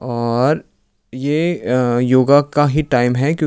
और ये अह योगा का ही टाइम है क्यों--